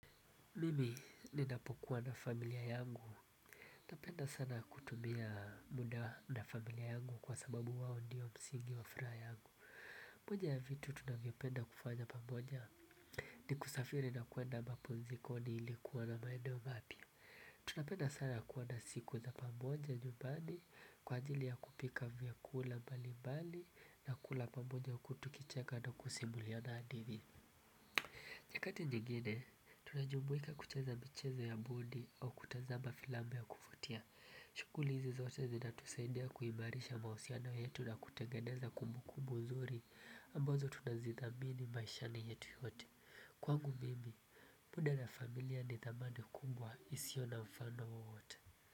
Mimi ninapokuwa na familia yangu, napenda sana kutumia muda na familia yangu kwa sababu wao ndiyo msingi wa furaha yangu. Moja ya vitu tunavyopenda kufanya pamoja, ni kusafiri na kwenda mapumzikoni ili kuona maeneo mapya. Tunapenda sana kuona siku za pamoja nyumbani, kwa ajili ya kupika vyakula mbalimbali na kula pamoja huku tukicheka na kusimuliana hadithi. Nyakati nyingine, tunajumuika kucheza michezo ya bodi au kutazama filamu ya kuvutia. Shughuli hizi zote zinatusaidia kuimarisha mahusiano yetu na kutengeneza kumbukumbu nzuri ambazo tunazithamini maishani yetu yote. Kwangu mimi, muda na familia ni thamana kubwa isiyo na mfano wowote.